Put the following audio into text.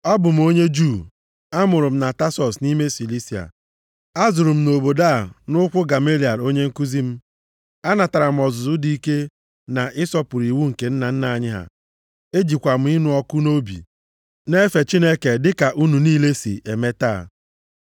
“Abụ m onye Juu. Amụrụ m na Tasọs nʼime Silisia. Azụrụ m na obodo a nʼụkwụ Gamaliel onye nkuzi m. Anatara m ọzụzụ dị ike na ịsọpụrụ iwu nke nna nna anyị ha ejikwa m ịnụ ọkụ nʼobi na-efe Chineke dịka unu niile si eme taa.